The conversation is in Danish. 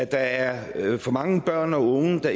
der er for mange børn og unge der